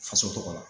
Faso tɔgɔ la